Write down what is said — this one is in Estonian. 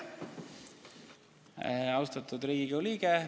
Austatud Riigikogu liige!